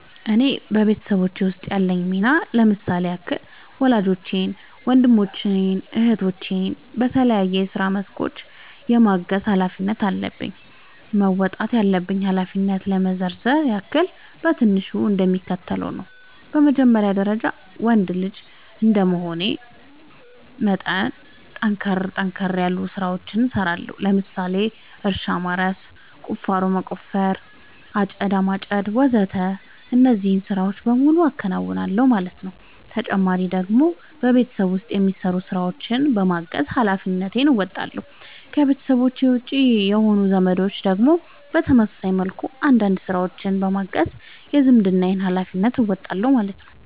እኔ በቤተሰቦቼ ውስጥ ያለኝ ሚና ለምሳሌ ያክል ወላጆቼን ወንድሞቼን እህቶቼን በተለያዩ የስራ መስኮች የማገዝ ኃላፊነት አለብኝ። መወጣት ያለብኝን ኃላፊነት ለመዘርዘር ያክል በትንሹ እንደሚከተለው ነው በመጀመሪያ ደረጃ ወንድ ልጅ እንደመሆኔ መጠን ጠንከር ጠንከር ያሉ ስራዎችን እሰራለሁ ለምሳሌ እርሻ ማረስ፣ ቁፋሮ መቆፈር፣ አጨዳ ማጨድ ወዘተ እነዚህን ስራዎች በሙሉ አከናውናል ማለት ነው ተጨማሪ ደግሞ በቤት ውስጥ የሚሰሩ ስራዎችን በማገዝ ሃላፊነትን እንወጣለሁ። ከቤተሰቤ ውጪ የሆኑት ዘመዶቼን ደግሞ በተመሳሳይ መልኩ አንዳንድ ስራዎችን በማገዝ የዝምድናዬን ሀላፊነት እወጣለሁ ማለት ነው